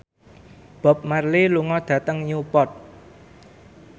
Bob Marley lunga dhateng Newport